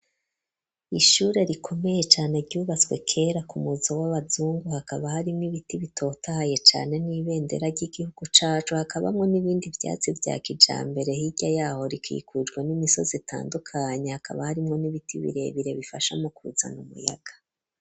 Ishure rikomeye cane ryubaswe kera kumuzo w'abazungu hakaba harimwo ibiti bitotaye cane n'ibendera ry'igihugu cacu hakabamwo n'ibindi vyatsi vya kijambere hirya yaho rikikujwe n'imisozi itandukanye hakaba harimwo n'ibiti birebire bifasha mu kuzana umuyaga.